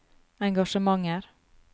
engasjementer